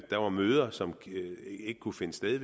der var møder som ikke kunne finde sted i